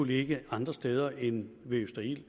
hvilke andre steder end ved østerild